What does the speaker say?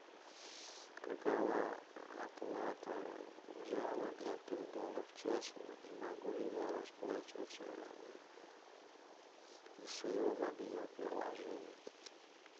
какова оплата зала для пейнтбола в час и могу ли я расплачиваться из своего мобильного приложения